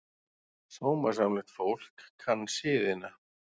Sómasamlegt fólk kann siðina.